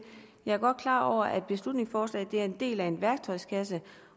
jeg er godt klar over at beslutningsforslaget er en del af en værktøjskasse